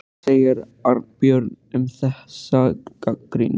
Hvað segir Arnbjörg um þessa gagnrýni?